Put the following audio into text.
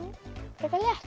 frekar létt